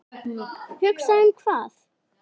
Hugsa um hvað?